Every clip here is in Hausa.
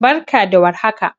Barka da war haka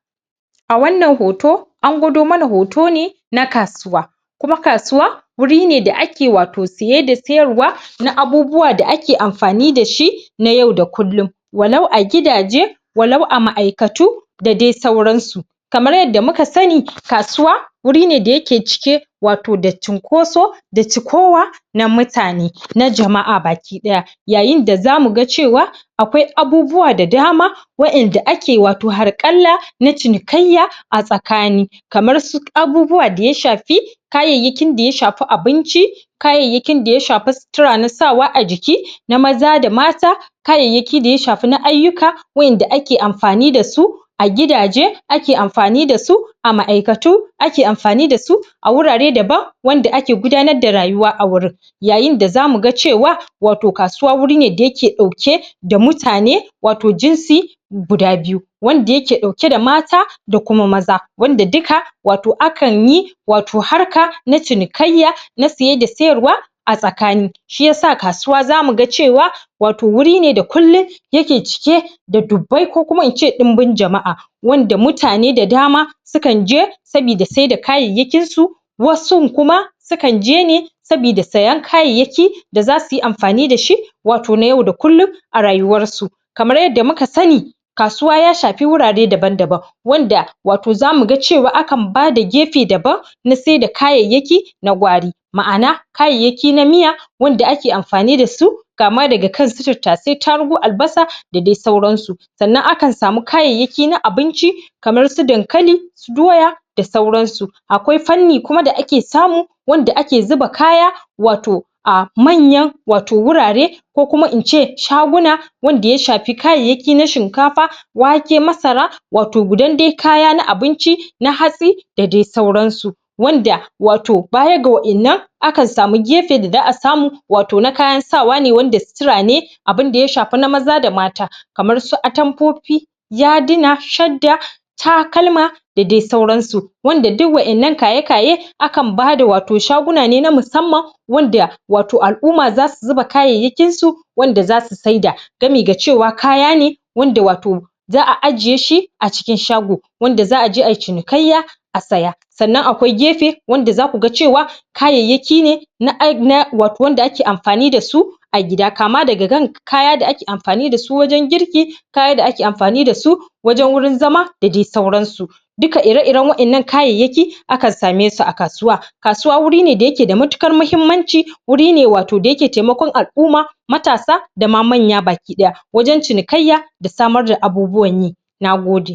a wannan hoto, an gudo mana hoto ne na kasuwa kuma kasuwa, wuri ne da ake wato siye da siyar wa na abubuwa da ake amfani dashi na yau da kullum walau a gidaje, walau a ma'aikatu da dai sauransu kamar yadda muka sani kasuwa wuri ne da yake cike wato da cinƙoso da cikowa na mutane, na jama'a baki daya yaayinda zaa muga cewa akwai abubuwa da dama yaayinda zaa muga cewa akwai abubuwa da dama yaayinda zaa muga cewa akwai abubuwa da daama wa'inda ake wato harƙalla na cinikayya a tsakani, kamar su abubuwa da ya shafi kaayayyakin da ya shafi abinci, kaayayyakin da ya shafi sutura na sawa a jikina maza da mata, kaayayyaki daya shafi na ayyuka wa'inda ake amfani dasu a gidaje ake amfani dasu, a ma'aikatu ake amfani dasu, a wurare daban wanda ake gudanar da rayuwa a gurin yaayinda zaa muga cewa wato kasuwa guri ne da yake dauke da mutane, wato jinsi guda biyu, wanda yake dauke da mata da kuma maza, wanda dika wato akanyi wato harka na cinikayya na siye da siyarwa a tsakani, shi yasa kasuwa zaa muga cewa wato wuri ne da kullum yake cike da dubbai ko kuma ince ɗinbin jama'a, wanda mutane da dama sukan je sabida saida kaayayyakin su wasun kuma sukan je ne sabida sayan kayayyaki da zaa suyi amfani dashi wato na yau da kullum a rayuwar su. Kamar yadda muka sani kasuwa yaa shafe wurare daban-daban wanda wato zaa muga cewa akan bada gefe daban na saida kaayayyaki na gwari ma'ana kaayayyaki na miya wanda ake amfani dasu kaama daga kan su tattaasai, taarugu, albasa da dai sauran su. Sa'annan akan samu kaayayyaki na abinci kamar su dankali, doya da sauransu, akwai fanni kuma da ake samu wanda ake zuba kaya wato aa manyan wato wuraare ko kuma ince shaguna wanda ya shafi kaayayyaki na shinkafa, waake, masara, wato gudan dai kaya na abinci na hatsi da dai sauransu wanda wato baya ga wa'innan akan samu gefe da za'a samu wato na kayan sawa ne wanda sutura ne abinda ya shafi na maza da mata kamar su atamfofi, yaaduna, shadda, takalma da dai sauransu. Wanda duk wa'innan kaye-kaye akan bada wato shaguna ne na musamman wanda wato al'umma za su zuba kaayayyakin su wanda zasu saida gami ga cewa kaya ne wanda wato za'a ajiye shi a cikin shago wanda za'aje ayi cinikayya a saya sannan akwai gefe wanda zaa kuga cewa kaayayyaki ne na ai na wato wanda ake amfani dasu a gida, kaama daga kan kaya da ake amfani dasu wajan girki kaya da ake amfani dasu wajan gurin zama da dai sauransu. Duka ire-iren wa'innan kaayayyaki akan saame su a kasuwa. Kasuwa wuri ne da yake da matukar muhimmanci, wuri ne wato da yake taimakon al'umma matasa da ma manya baki daya wajan cinikayya da samar da abubuwan yi, nagode.